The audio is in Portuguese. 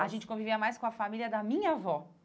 A gente convivia mais com a família da minha avó.